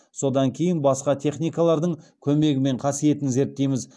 содан кейін басқа техникалардың көмегімен қасиетін зерттейміз